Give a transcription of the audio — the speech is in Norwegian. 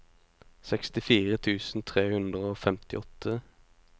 sekstifire tusen tre hundre og femtiåtte